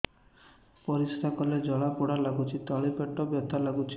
ପରିଶ୍ରା କଲେ ଜଳା ପୋଡା ଲାଗୁଚି ତଳି ପେଟ ବଥା ଲାଗୁଛି